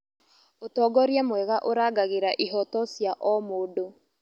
Ũtongoria mwega ũrangagĩra ihooto cia o mũndũ.